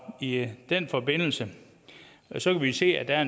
i i den forbindelse kan vi se at der er